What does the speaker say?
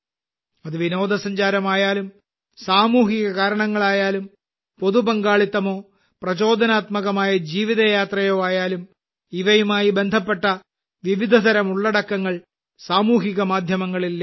അത് വിനോദസഞ്ചാരമായാലും സാമൂഹികകാരണങ്ങളായാലും പൊതു പങ്കാളിത്തമോ പ്രചോദനാത്മകമായ ജീവിതയാത്രയോ ആയാലും ഇവയുമായി ബന്ധപ്പെട്ട വിവിധതരം ഉള്ളടക്കങ്ങൾ സാമൂഹ്യമാധ്യമങ്ങളിൽ ലഭ്യമാണ്